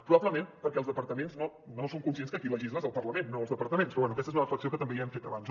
probablement perquè els departaments no són conscients que qui legisla és el parlament no els departaments però bé aquesta és una reflexió que també ja hem fet abans